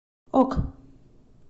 ок